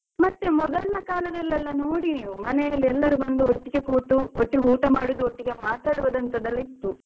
ಮತ್ತೆ ಮೊದಲಿನ ಕಾಲದಲ್ಲೆಲ್ಲ ನೋಡಿ ನೀವ್ ಮನೆಯವ್ರುಎಲ್ಲರು ಬಂದು ಒಟ್ಟಿಗೆ ಕೂತು ಒಟ್ಟಿಗೆ ಊಟ ಮಾಡುದು ಒಟ್ಟಿಗೆ ಮಾತಾಡುದಂತೆಲ್ಲ ಇತ್ತು